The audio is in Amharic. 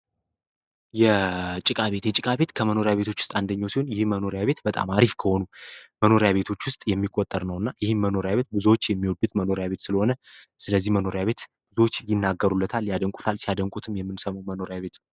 የጭቃቤት የጭቃቤት ከመኖሪያ ቤቶች ውስጥ አንደኘው ሲሆን ይህ መኖሪያ ቤት በጣም አሪፍ ከሆኑ መኖሪያ ቤቶች ውስጥ የሚቆጠር ነው እና ይህም መኖሪያ ቤት ብዙዎች የሚወዱት መኖሪያ ቤት ስለሆነ ስለዚህ መኖሪያ ቤት ብዙዎች ይናገሩለታል ያደንቁታል ሲያደንቁትም የምንሰመው መኖሪያ ቤት ነው፡፡